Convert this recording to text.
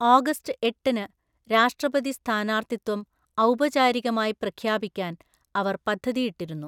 August എട്ടിന് രാഷ്ട്രപതിസ്ഥാനാർത്ഥിത്വം ഔപചാരികമായി പ്രഖ്യാപിക്കാൻ അവര്‍ പദ്ധതിയിട്ടിരുന്നു.